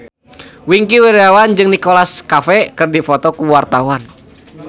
Wingky Wiryawan jeung Nicholas Cafe keur dipoto ku wartawan